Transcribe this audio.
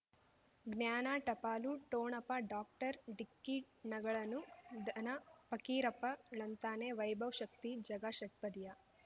ಜ್ಞಾನ ಟಪಾಲು ಠೋಣಪ ಡಾಕ್ಟರ್ ಢಿಕ್ಕಿ ಣಗಳನು ಧನ ಫಕೀರಪ್ಪ ಳಂತಾನೆ ವೈಭವ್ ಶಕ್ತಿ ಝಗಾ ಷಟ್ಪದಿಯ